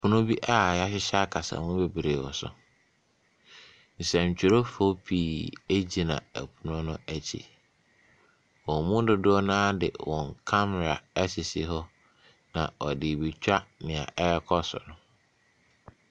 Pono a wɔahyehyɛ kasamu bebree wɔ so. Nsɛntwerɛfoɔ pii gyina pono no akyi. Wɔn mu dodoɔ no ara de wɔn kamera asisi hɔ, na wɔde rebɛtwa nea ɛrekɔ so no.